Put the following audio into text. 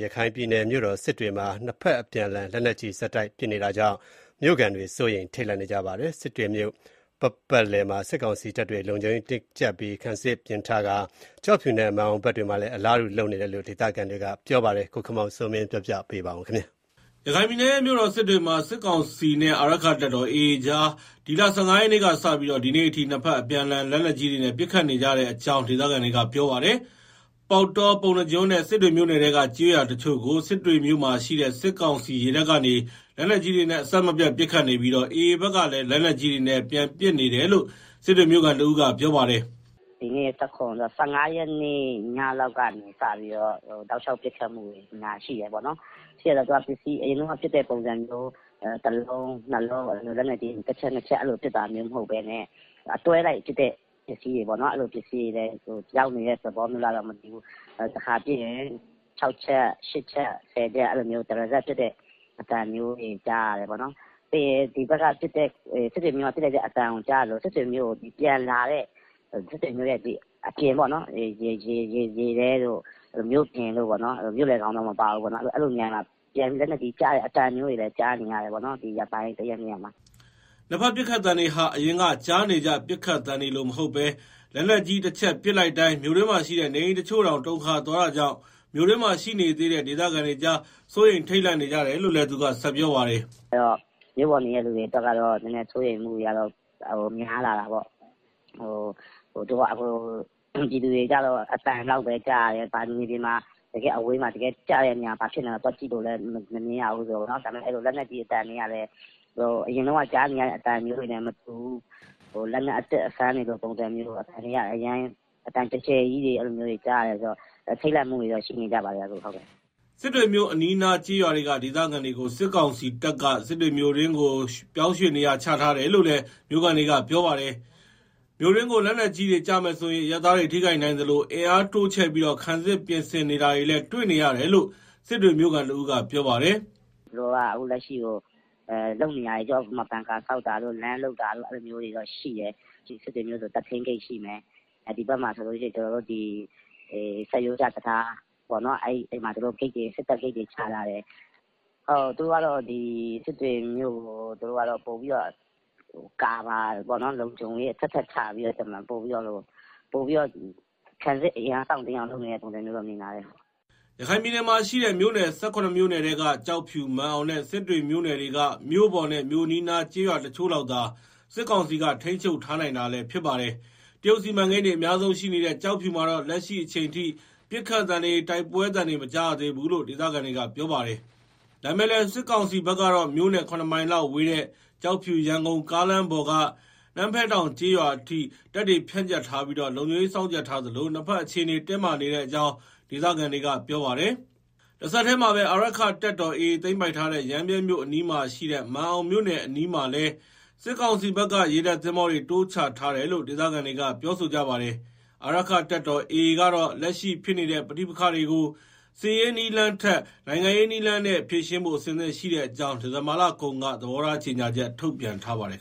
ရခိုင်ပြည်နယ်ရဲ့ မြို့တော်စစ်တွေမှာ ဒီရက်ပိုင်း နှစ်ဘက်အပြန် အလှန် လက်နက်ကြီးတွေနဲ့ ဆက်တိုက် ပစ်ခတ်နေကြတာကြောင့် မြို့ခံတွေ စိုးရိမ် ထိတ်လန့်နေကြ ပါတယ်။ စစ်တွေမြို့ပတ်ပတ်လည်မှာ စစ်ကောင်စီတပ်တွေဟာ လုံခြုံရေးတင်း ကြပ်ပြီး ခံစစ်အခိုင် အမာပြင်ထားပါတယ်။ ကျောက်ဖြူနဲ့ မာန်အောင်ဘက်တွေမှာလည်း ခံစစ်တိုးအတွက် ပြင်ဆင်နေပုံ ရတယ်လို့ ဒေသခံတွေက ပြောဆိုကြပါတယ်။ ရန်ကုန်ကပေးပို့တဲ့သတင်းကို အခြေခံပြီး တင်ပြထားပါတယ်။ ရခိုင်ပြည်နယ်ရဲ့ မြို့တော်စစ်တွေမှာ စစ်ကောင်စီနဲ့ အာရက္ခတပ်တော် AA ကြား ဒီလ ၁၅ ရက်နေ့က စပြီး ဒီနေ့အထိ လက်နက်ကြီးတွေနဲ့ အပြန်အလှန်ပစ်ခတ်နေကြတဲ့အကြောင်း ဒေသခံတွေက ပြောပါတယ်။ ပေါက်တော၊ ပုဏ္ဏားကျွန်းနဲ့ စစ်တွေ မြို့နယ်ထဲက ကျေးရွာတချို့ကို စစ်တွေမြို့မှာရှိတဲ့ စစ်ကောင်စီ ရေတပ်ကနေ လက်နက်ကြီးတွေနဲ့ အဆက်မပြတ်ပစ်ခတ်နေပြီး AA ဘက်က လည်း လက်နက်ကြီးတွေနဲ့ ပြန်ပစ်နေတယ်လို့ စစ်တွေ မြို့ခံတဦးက ပြောပါတယ်။ “ဒီနေ့ ၁၇ ဆိုတော့ ၁၅ ရက်နေ့ လောက်ကစပြီးတော့ တောက်လျှောက်ပစ်ခတ်မှုတွေ ရှိတယ်၊ ပစ်တယ်ဆိုတာကလည်း အရင်တုန်းကလို လက်နက်ကြီး တချက်နှစ်ချက်ပစ်တာမျိုးမဟုတ်ဘူး။ အတွဲလိုက်ပစ်တဲ့လက်နက်ပစ္စည်းတွေ ရောက်နေတာလားမသိဘူး၊ တခါပစ်ရင် ၆ ချက်၊ ၈ ချက်၊ ၁၀ ချက်၊ အဲလိုမျိုး တရစပ်ပစ်သံတွေ ကြားရတယ်။ ပြီးတော့ စစ်တွေကပစ်လိုက်တဲ့အသံကြားရသလို စစ်တွေမြို့ကို ပြန်လာတဲ့ မြို့ပြင်တို့၊ ရေထဲတွေကို... မြို့ထဲတော့မပါဘူး။ အဲလိုမျိုးပြန်ကျတဲ့ အသံတွေလည်းကြားရတယ် ဒီရက်ပိုင်းမှာ။” နှစ်ဘက်ပစ်ခတ်သံတွေဟာ အရင်ကကြားနေကြ ပစ်ခတ်သံတွေလိုမဟုတ်ဘဲ လက်နက်ကြီးတချက် ပစ်လိုက်တိုင်း မြို့တွင်းမှာရှိတဲ့ နေအိမ်တချို့တောင် တုန်ခါ သွားတာကြောင့် မြို့တွင်းမှာရှိနေသေးတဲ့ ဒေသခံတွေကြား စိုးရိမ်ထိတ်လန့်နေကြတယ်လို့လည်း သူကဆက်ပြောပါတယ်။ “ဆိုတော့ မြို့ပေါ်နေတဲ့ သူတွေကတော့ စိုးရိမ်မှုတွေ များလာတာပေါ့။ပြည်သူတွေကတော့ အသံ လောက်ပဲ ကြားရတယ်။ မြေပြင်မှာ အဝေးမှာကျတဲ့နေရာမှာ ဘာဖြစ်နေလဲ သွားကြည့်လို့လဲ မရဆိုတော့ အသံကလည်း အရင်တုန်းကကြားနေရသလိုမဟုတ်တော့၊ အသံကျယ်ကျယ်ကြီးတွေ ကြားနေရတော့ အကုန်လုံးကတော့ စိုးရိမ်ထိတ်လန့်နေကြတယ်။” စစ်တွေမြို့အနီးအနားကျေးရွာတွေကဒေသခံတွေကို စစ်ကောင်စီတပ်က စစ်တွေမြို့တွင်းကို ပြောင်းရွှေ့ထားတယ်လို့လည်း မြို့ခံတွေက ပြောပါတယ်။ မြို့တွင်းကို လက်နက်ကြီးတွေကျမယ်ဆိုရင် အရပ်သားတွေထိခိုက်နိုင်သလို အင်အားတိုးချဲ့ပြီး ခံစစ်ပြင်ဆင်နေတာတွေလည်း တွေ့နေရတယ်လို့ စစ်တွေ မြို့ခံတဦး ကပြောပါတယ်။ “သူတို့ကတော့ အခုလက်ရှိလုပ်နေတာက ဘန်ကာတွေဆောက်တာတို့၊ လမ်းလုပ်တာတို့ အဲလိုမျိုးတွေ ရှိတယ်။ စစ်တွေမြို့ဆို တပ်ထိန်းဂိတ်ရှိမယ်၊ ဒီဘက်မှာဆိုလို့ရှိရင် ဆတ်ရိုးကျတံတားပေါ့။ အဲမှာ သူတို့စစ်တပ်ဂိတ်တွေ ချထားတယ်။ သူတို့ကတော့ စစ်တွေမြို့ကို သူတို့ကတော့ကာဗာပေါ့နော်။ လုံခြုံ ရေး အထပ်ထပ်ချပြီးတော့ ခံစစ်အင်အား တောင့်တင်းအောင်လုပ်တယ်လို့တော့ မြင်ပါတယ်။” ရခိုင်ပြည်နယ်မှာရှိတဲ့ မြို့နယ် ၁၇ မြို့နယ်ထဲက ကျောက်ဖြူ၊ မာန်အောင်နဲ့ စစ်တွေမြို့နယ်တွေက မြို့ပေါ်နဲ့ မြို့အနီးအနားကျေးရွာတချို့လောက်သာ စစ်ကောင်စီက ထိန်းချုပ်ထားနိုင်တာလည်း ဖြစ်ပါတယ်။ တရုတ်စီမံကိန်းတွေအများဆုံးရှိနေတဲ့ ကျောက်ဖြူမှာတော့ လက်ရှိအချိန်ထိ ပစ်ခတ်သံတွေ၊ တိုက်ပွဲသံတွေ မကြားရသေးဘူးလို့ ဒေသခံတွေကပြောပါတယ်။ ဒါပေမယ့်လည်း စစ်ကောင်စီဘက်ကတော့ မြို့နဲ့ ၇ မိုင်လောက်ဝေးတဲ့ ကျောက်ဖြူ-ရန်ကုန်ကားလမ်းပေါ်က နမ်းဖဲတောင်ကျေးရွာအထိ တပ်တွေ ဖြန့်ကျက်ထားပြီး လုံခြုံရေးစောင့်ကြပ်ထားသလို နှစ်ဘက် အခြေအနေတင်းမာနေကြောင်း ဒေသခံတွေကပြောပါတယ်။ တဆက်တည်းမှာပဲ အာရက္ခတပ်တော် AA သိမ်းပိုက်ထားတဲ့ ရမ်းဗြဲမြို့အနီးမှာရှိတဲ့ မာန်အောင်မြို့နယ် အနီးမှာလည်း စစ်ကောင်စီဘက်က ရေတပ်သင်္ဘောတွေ တိုးချထားတယ်လို့ ဒေသခံတွေကပြော ဆိုကြပါတယ်။ အာရက္ခတပ်တော် AA ကတော့ လက်ရှိဖြစ်နေတဲ့ ပဋိပက္ခတွေကို စစ်ရေးနည်း လမ်းနဲ့ထက် နိုင်ငံရေးနည်းလမ်းနဲ့ ဖြေရှင်းဖို့ အဆင်သင့်ရှိတဲ့အကြောင်း ဒီဇင်ဘာလကုန်က သဘောထား ကြေညာချက် ထုတ်ပြန်ထားပါတယ်